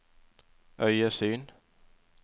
øyesyn